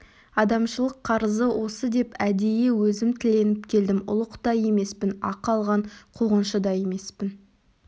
адамшылық қарызы осы деп әдейі өзім тіленіп келдім ұлық та емеспін ақы алған қуғыншы да емеспін